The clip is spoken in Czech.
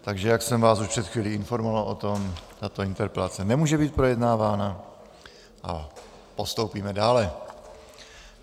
Takže jak jsem vás už před chvílí informoval o tom, tato interpelace nemůže být projednávána a postoupíme dále.